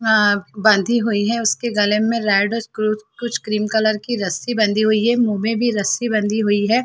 आं बंधी हुई है उसके गले में रेड और क्रू कुछ क्रीम कलर की रस्सी बंधी हुई है मुँह में भी रस्सी बंधी हुई है।